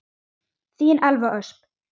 Þín Elva Ösp.